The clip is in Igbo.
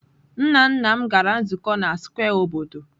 Nna nna m gara nzukọ na square obodo.